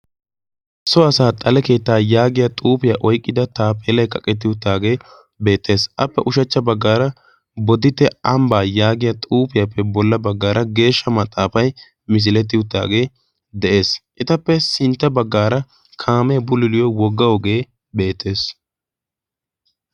so asaa xale keettaa yaagiya xuufiyaa oiqqida taapheelae qaqettiyuttaagee beettees appe ushachcha baggaara bodite ambbaa yaagiya xuufiyaappe bolla baggaara geeshsha maxaafay misilettiyuttaagee de'ees. etappe sintta baggaara kaamee buliliyo woggao ogee beettees.